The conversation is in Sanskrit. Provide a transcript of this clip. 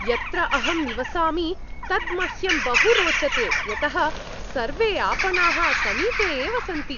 यत्र अहं निवसामि तत् मह्यं बहु रोचते यतः सर्वे आपणाः समीपे एव सन्ति।